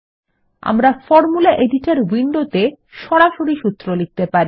আমরা formula editor উইন্ডোত়ে সরাসরি সূত্র লিখতে পারি